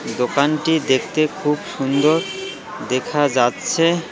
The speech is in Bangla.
দোকানটি দেখতে খুব সুন্দর দেখা যাচ্ছে।